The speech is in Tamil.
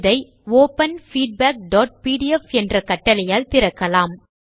இதை ஒப்பன் feedbackபிடிஎஃப் என்ற கட்டளையால் திறக்கலாம்